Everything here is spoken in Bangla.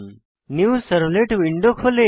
নিউ সার্ভলেট উইন্ডো খোলে